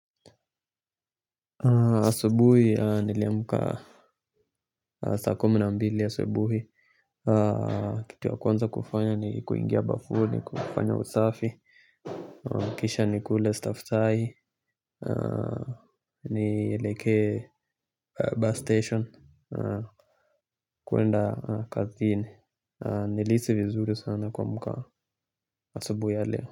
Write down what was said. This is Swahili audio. Asubuhi niliamka saa kumi na mbili asubuhi. Kitu ya kwanza kufanya ni kuingia bafuni kufanya usafi. Kisha nikule staftahi. Nieleke bus station. Kuenda kazini. Nilihisi vizuru sana kuamka asubuhi ya leo.